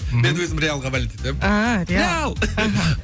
мен өзім реалға болеть етемін ааа реал реал аха